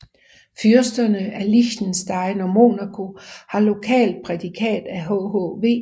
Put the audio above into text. Fyrsterne af Liechtenstein og Monaco har lokalt prædikat af hhv